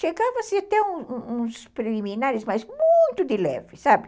Chegava-se até uns uns preliminares, mas muito de leve, sabe?